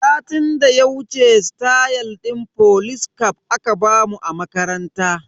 Satin da ya wuce stayal din folis caf aka bamu a makaranta.